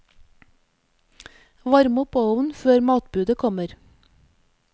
Varm opp ovnen før matbudet kommer.